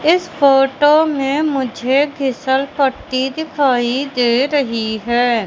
इस फोटो मे मुझे फीसलपट्टी दिखाई दे रहीं हैं।